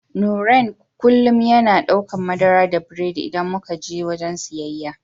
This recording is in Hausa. Nurain kullum yana daukan madara da biredi idan muka je wajen siyayya.